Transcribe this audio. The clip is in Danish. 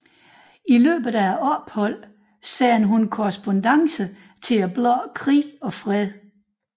I løbet af opholdet sendte hun korrespondancer til bladet Krig og Fred